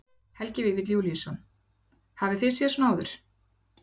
Helgi Vífill Júlíusson: Hafið þið séð svona áður?